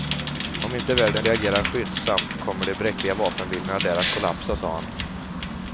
Om inte världen reagerar skyndsamt kommer de bräckliga vapenvilorna där att kollapsa, sade han.